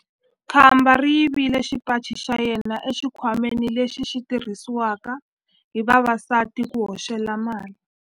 Khamba ri yivile xipaci xa yena exikhwameni lexi xi tirhisiwaka hi vavasati ku hoxela mali.